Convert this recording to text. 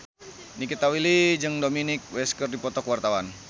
Nikita Willy jeung Dominic West keur dipoto ku wartawan